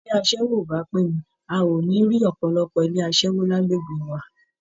Bí iṣẹ́ aṣẹ́wó ò bà á pé ni, a ò ní rí ọ̀pọ̀lọpọ̀ ilé aṣẹ́wó lágbègbè wa